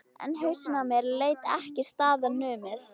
En hausinn á mér lét ekki staðar numið.